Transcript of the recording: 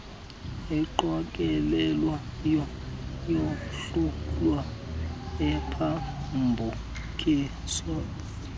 eqokelelwayo yahlulwe iphambukiswe